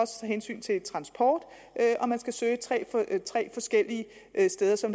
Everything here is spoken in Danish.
hensyn til transport man skal søge tre forskellige steder så